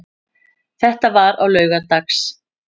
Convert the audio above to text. Þetta var á laugardags